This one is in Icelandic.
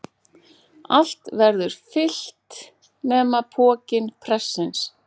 Allt verður fyllt nema pokinn prestsins.